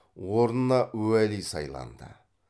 орнына уәли сайланды